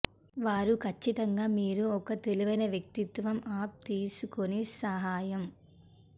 వారు ఖచ్చితంగా మీరు ఒక తెలివైన వ్యక్తిత్వం అప్ తీసుకుని సహాయం